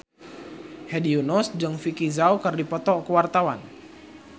Hedi Yunus jeung Vicki Zao keur dipoto ku wartawan